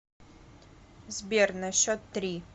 сбер на счет три